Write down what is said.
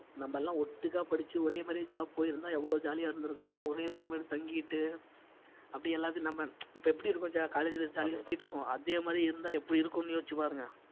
நாமெல்லாம் ஒட்டுக்கா படிச்சு ஒரே மாதிரியே job போயிருந்தா எவ்வளவு jolly ஆ இருந்திருக்கலாம் ஒரே room எடுத்து தங்கிட்டு அப்படி எல்லாத்துலயும் நம்ம இப்ப எப்படி இருக்கோம் jo~ college ல jolly ஆ சுத்திட்டிருக்கோம் அதே மாதிரி இருந்தா எப்படி இருக்கும்ன்னு யோசிச்சு பாருங்க